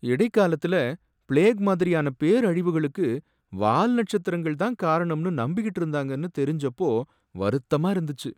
இடைக்காலத்துல plague மாதிரியான பேரழிவுகளுக்கு வால் நட்சத்திரங்கள் தான் காரணம்னு நம்பிகிட்டு இருந்தாங்கனு தெரிஞ்சப்போ வருத்தமா இருந்துச்சு.